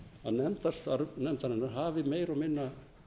nefndarstarf nefndarinnar hafi meira og minna